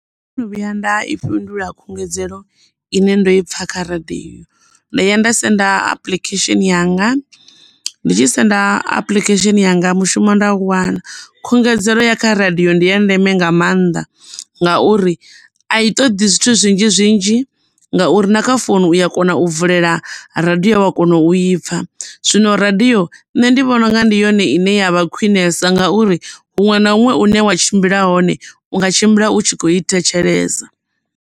Ndo no vhuya nda i fhindula khungedzelo ine nda i pfha kha radiyo, ndo ya nda senda apuḽikhesheni yanga ndi tshi senda apuḽikhesheni yanga mushumo nda u wana khungedzelo ya kha radiyo ndi ya ndeme nga maanḓa ngauri a i toḓi zwithu zwinzhi zwinzhi ngauri na kha founu uya kona u vulela radiyo wa kona u i pfha zwino radiyo nṋe ndi vhona unga ndi yone ine ya vha khwiṋesa ngauri huṅwe na huṅwe hune wa tshimbila hone unga tshimbila u tshi kho i thetshelesa.